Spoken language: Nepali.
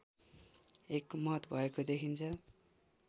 एकमत भएको देखिन्छ